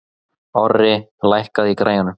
Orri, lækkaðu í græjunum.